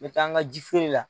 N mɛ taa an ga ji feere la